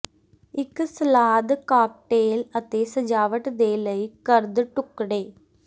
ਇੱਕ salad cocktail ਅਤੇ ਸਜਾਵਟ ਦੇ ਲਈ ਕਰਦ ਟੁਕੜੇ